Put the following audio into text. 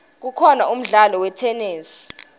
kukhona umdlalo wetenesi